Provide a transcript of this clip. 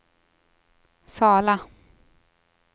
Sala